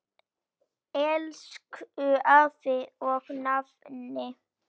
Elsku afi og nafni.